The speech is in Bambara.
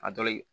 A dɔ ye